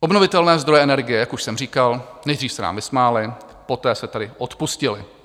Obnovitelné zdroje energie - jak už jsem říkal, nejdřív se nám vysmáli, poté se tady odpustily.